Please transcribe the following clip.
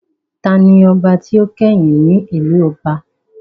Taani ọba tí ó kẹ́yìn ní ìlú ọba?